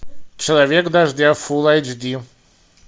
человек дождя фул аш ди